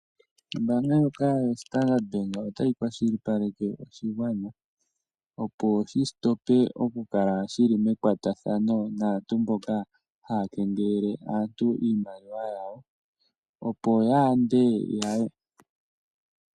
Ombaanga ndjoka yoStandard Bank otayi kunkilile oshigwana, opo shi hulithe po okukala shi li mekwatathano naantu mboka haya kengelele aantu iimaliwa yawo.